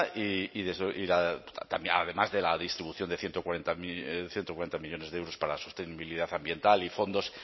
además de la distribución de ciento cuarenta millónes de euros para la sostenibilidad ambiental y fondos